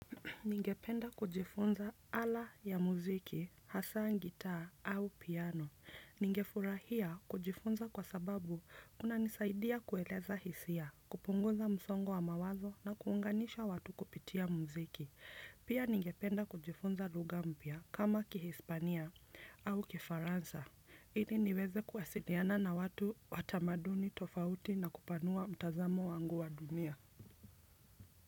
Ningependa kujifunza ala ya muziki, hasaa gitaa au piano. Ningefurahia kujifunza kwa sababu kunanisaidia kueleza hisia, kupunguza msongo wa mawazo na kuunganisha watu kupitia muziki. Pia ningependa kujifunza lugha mpya kama kihispania au kifaransa. Ili niweze kuwasiliana na watu wa tamaduni tofauti na kupanua mtazamo wangu wa dunia.